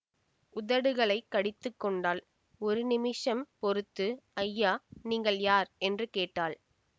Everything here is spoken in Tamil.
உதடுகளைக் கடித்துக் கொண்டாள் ஒரு நிமிஷம் பொறுத்து ஐயா நீங்கள் யார் என்று கேட்டாள்